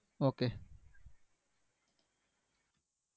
Okay.